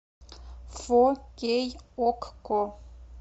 фо кей окко